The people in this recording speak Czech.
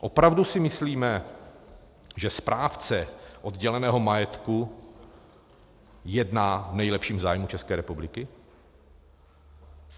Opravdu si myslíme, že správce odděleného majetku jedná v nejlepším zájmu České republiky?